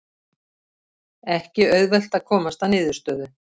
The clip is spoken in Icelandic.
Ekki auðvelt að komast að niðurstöðu